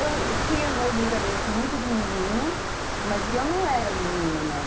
Então, eu tinha umas brincadeiras, assim, muito de menino, mas que eu não era menino, não.